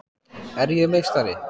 Er ég meistari?